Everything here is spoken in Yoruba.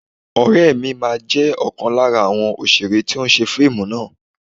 Ọ̀rẹ́ mi máa jẹ́ ọ̀kan lára àwọn òṣèré tí ó ṣe fíìmù náà